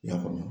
I y'a faamu